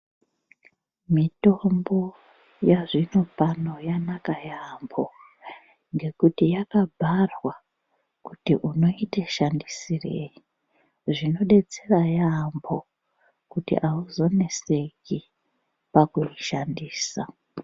Mitombo yazvinopano yanaka yamhoo ngekuti yakabharwa kuti unoite shandisrei zvinodetsera yamho kuti auzonetseki pakuishandisa.